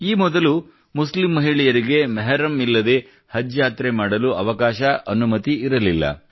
ಈ ಮೊದಲು ಮುಸ್ಲಿಂ ಮಹಿಳೆಯರಿಗೆ ಮೆಹರಮ್ ಇಲ್ಲದಂತೆ ಹಜ್ ಯಾತ್ರೆ ಮಾಡಲು ಅವಕಾಶ ಅನುಮತಿ ಇರಲಿಲ್ಲ